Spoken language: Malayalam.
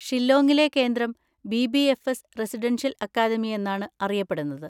ഷില്ലോങ്ങിലെ കേന്ദ്രം ബി.ബി.എഫ്.എസ്. റെസിഡൻഷ്യൽ അക്കാദമി എന്നാണ് അറിയപ്പെടുന്നത്.